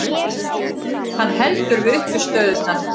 Hann heldur við uppistöðurnar.